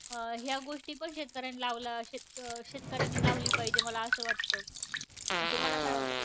अं ह्या गोष्टी पण शेतकऱ्यांनी लावला, शेत अं शेतकऱ्यानी लावली पाहिजे मला असं वाटतं. तुम्हाला काय वाटतं?